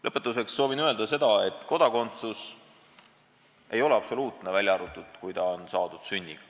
Lõpetuseks soovin öelda seda, et kodakondsus ei ole absoluutne, välja arvatud, kui see on saadud sünniga.